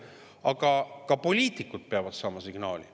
Aga ka poliitikud peavad saama signaali.